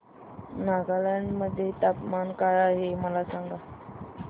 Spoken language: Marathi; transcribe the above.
नागालँड मध्ये तापमान काय आहे मला सांगा